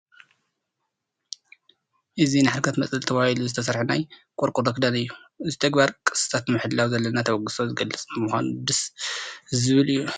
እዚ ንሓድግታት መፅለሊ ተባሂሉ ዝተሰርሐ ናይ ቆርቆሮ ክዳን እዩ፡፡ እዚ ተግባር ቅርስታት ንምሕላው ዘለና ተበግሶ ዝገልፅ ብምዃኑ ደስ ዝብል እዩ፡፡